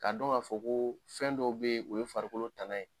K'a dɔn k'a fɔ ko fɛn dɔw bɛ yen o ye farikolo tana ye